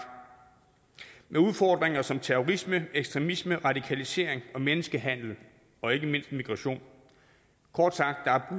med udfordringer som terrorisme ekstremisme radikalisering og menneskehandel og ikke mindst migration kort sagt er